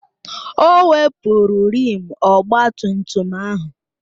O wepụrụ rịịm ọgba tum tum ahụ